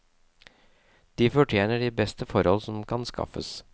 De fortjener de beste forhold som kan skaffes.